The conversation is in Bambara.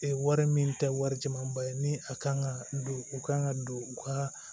Ee wari min tɛ wari jɛmaaba ye ni a kan ka don u kan ka don u ka